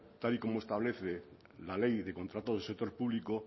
tal y como establece la ley de contratos del sector público